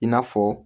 I n'a fɔ